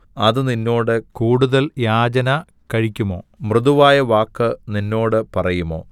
അത് നിന്നോട് കൂടുതൽ യാചന കഴിക്കുമോ മൃദുവായ വാക്ക് നിന്നോട് പറയുമോ